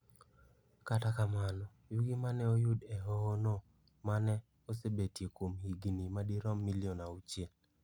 Kata kamano, yugi ma ne oyud e hohono ma ne osebetie kuom higini madirom milion auchiel.